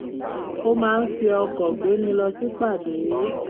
ó máa ń fi ọkọ̀ gbéni lọ sípàdé